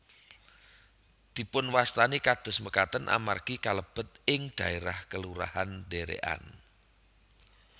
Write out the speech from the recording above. Dipunwastani kados makaten amargi kalebet ing dhaérah Kelurahan Derekan